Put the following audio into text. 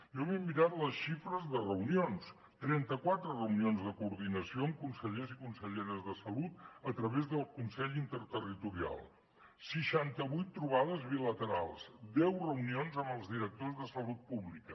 jo m’he de mirar les xifres de reunions trenta quatre reunions de coordinació amb consellers i conselleres de salut a través del consell interterritorial seixanta vuit trobades bilaterals deu reunions amb els directors de salut pública